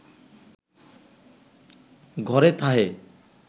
ঘরে থাহে